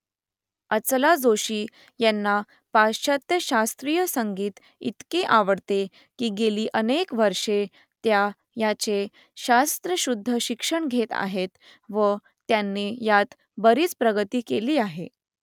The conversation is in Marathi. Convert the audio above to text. अचला जोशी यांना पाश्चात्य शास्त्रीय संगीत इतके आवडते की गेली अनेक वर्षे त्या याचे शास्त्रशुद्ध शिक्षण घेत आहेत , व त्यांनी यात बरीच प्रगती केली आहे